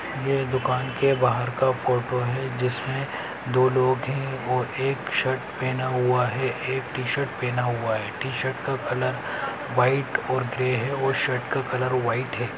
ये दुकान के बाहर का फोटो है जिसमे दो लोग हैं और एक शर्ट पेहना हुआ है एक टि-शर्ट पेहना हुआ है। टि-शर्ट का कलर व्हाइट और ग्रे है और शर्ट का कलर व्हाइट है।